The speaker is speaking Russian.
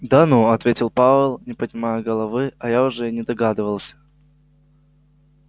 да ну ответил пауэлл не поднимая головы а я уже и не догадывался